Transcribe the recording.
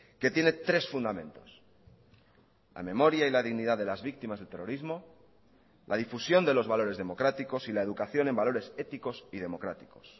que tiene tres fundamentos la memoria y la dignidad de las víctimas del terrorismo la difusión de los valores democráticos y la educación en valores éticos y democráticos